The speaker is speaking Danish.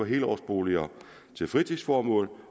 helårsboliger til fritidsformål